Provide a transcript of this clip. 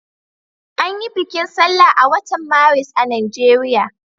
An yi bikin sallah a watan Maris a Najeriya.